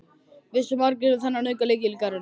Vissu margir um þennan aukalykil í garðinum?